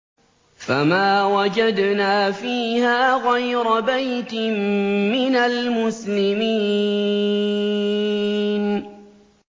فَمَا وَجَدْنَا فِيهَا غَيْرَ بَيْتٍ مِّنَ الْمُسْلِمِينَ